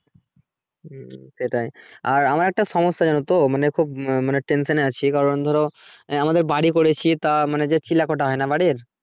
হুম সেটাই আর আমার একটা সমস্যা জানতো মানে খুব tension এ আছি কারণ ধরো আমাদের বাড়ি করছি তা মানে যে চিলেকোঠা হয় না বাড়ির